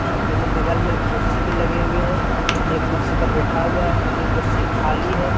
दोनों बगल में कुर्सी भी लगे हुए हैं एक कुर्सी पर बैठा हुआ है एक कुर्सी खाली है।